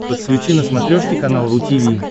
подключи на смотрешке канал ру ти ви